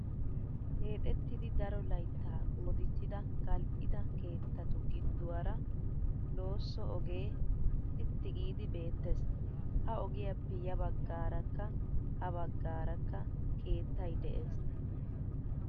Keexettidi daro layittaa qoodissida gal'ida keettatu gidduwaara loosso ogee sitti giidi beettes. Ha ogiyaappe ya baggaarakka ha baggaarakka keettayi des.